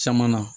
Caman na